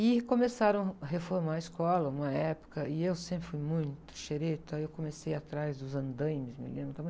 E começaram a reformar a escola, uma época, e eu sempre fui muito xereta, aí eu comecei atrás dos andaimes, me lembro...